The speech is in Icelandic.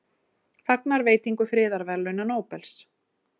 Fagna veitingu friðarverðlauna Nóbels